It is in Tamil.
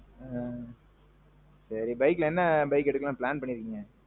ஆ. சரி பைக்ல என்ன எடுக்கலாம்னு plan பண்ணிருக்கீங்க?